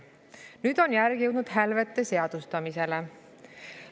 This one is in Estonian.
Nüüd on järg jõudnud hälvete seadustamiseni.